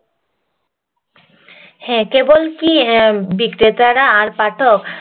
হ্যাঁ কেবল কি বিক্রেতারা পাঠক